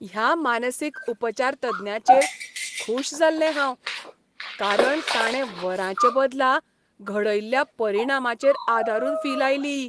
ह्या मानसीक उपचारतज्ञाचेर खूश जाल्लें हांव कारण ताणें वरांचे बदला घडयल्ल्या परिणामांचेर आदारून फी लायली.